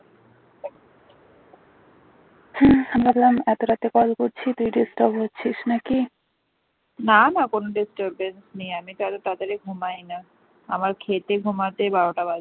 না না কোন disturbance নেই । আমি তো এত তাড়াতাড়ি ঘুমাই না আমার খেতে ঘুমাতে বারোটা বাজে